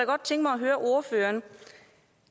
godt tænke mig at høre ordføreren